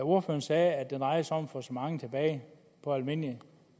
ordføreren sagde at det drejer sig om at få så mange tilbage på almindelige